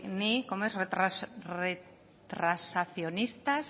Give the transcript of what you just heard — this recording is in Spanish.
ni cómo es retrasacionistas